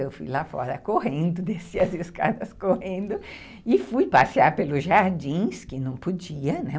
Eu fui lá fora correndo, desci as escadas correndo e fui passear pelos jardins, que não podia, né?